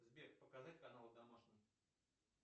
сбер показать канал домашний